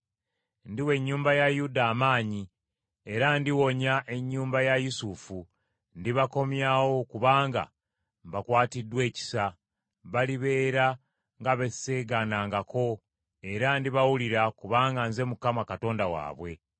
“Ndiwa ennyumba ya Yuda amaanyi era ndiwonya ennyumba ya Yusufu, ndibakomyawo kubanga mbakwatiddwa ekisa. Balibeera nga be sseegaanangako era ndibawulira kubanga nze Mukama Katonda waabwe.